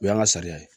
O y'an ka sariya ye